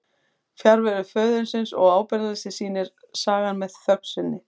Fjarveru föðurins og ábyrgðarleysi sýnir sagan með þögn sinni.